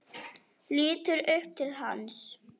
Lítur upp til hans.